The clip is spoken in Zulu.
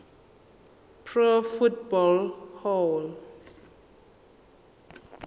pro football hall